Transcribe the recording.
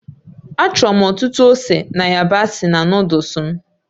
Achọrọ m ọtụtụ ose na yabasị na Nụ́dúls m